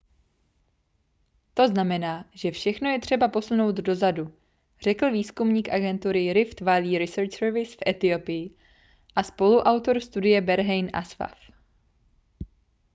to znamená že všechno je třeba posunout dozadu řekl výzkumník agentury rift valley research service v etiopii a spoluautor studie berhane asfaw